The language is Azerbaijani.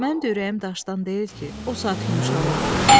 Mən də ürəyim daşdan deyil ki, o saat yumşalıram.